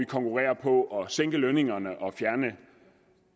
konkurrerer på at sænke lønningerne og fjerne